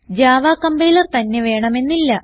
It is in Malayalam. ജാവ കംപൈലർ തന്നെ വേണമെന്നില്ല